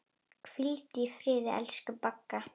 Hvíldu í friði, elsku Bagga.